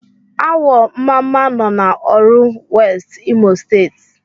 Awọ mmamma nọ n'Oru West, Imo State.